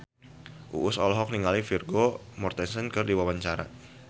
Uus olohok ningali Vigo Mortensen keur diwawancara